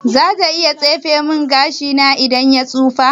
Zata iya tsefe min gashina in ya fara tsufa/tujewa.